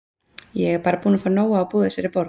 Ég er bara búin að fá nóg af að búa í þessari borg.